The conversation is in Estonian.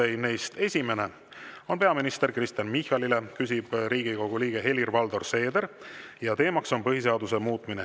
Esimene on peaminister Kristen Michalile, küsib Riigikogu liige Helir-Valdor Seeder ja teema on põhiseaduse muutmine.